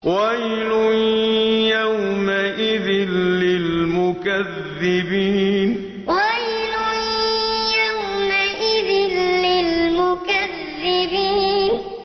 وَيْلٌ يَوْمَئِذٍ لِّلْمُكَذِّبِينَ وَيْلٌ يَوْمَئِذٍ لِّلْمُكَذِّبِينَ